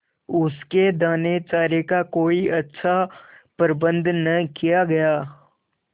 उसके दानेचारे का कोई अच्छा प्रबंध न किया गया